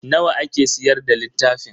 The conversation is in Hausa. Nawa ake siyar da littafin?